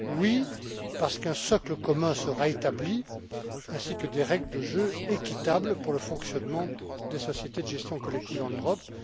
Oui, parce qu'un socle commun sera établi ainsi que des règles de jeu équitables pour le fonctionnement des sociétés de gestion collective en Europe.